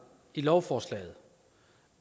i lovforslaget